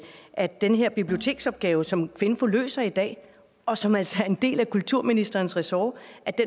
at den her biblioteksopgave som kvinfo løser i dag og som altså er en del af kulturministerens ressort